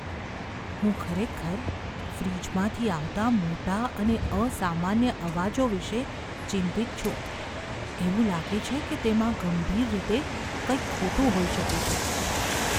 હું ખરેખર ફ્રિજમાંથી આવતા મોટા અને અસામાન્ય અવાજો વિશે ચિંતિત છું, એવું લાગે છે કે તેમાં ગંભીર રીતે કંઈક ખોટું હોઈ શકે છે.